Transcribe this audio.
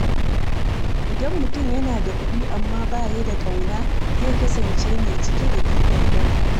Idan mutum yana da kuɗi amma ba ya da ƙauna, zai kasance mai cike da gibin rai.